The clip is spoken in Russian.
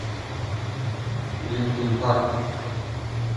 линкин парк